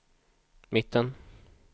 mitten